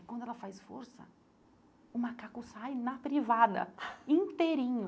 E quando ela faz força, o macaco sai na privada, inteirinho.